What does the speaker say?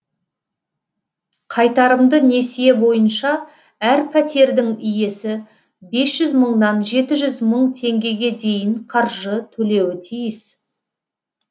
қайтарымды несие бойынша әр пәтердің иесі бес жүз мыңнан жеті жүз мың теңгеге дейін қаржы төлеуі тиіс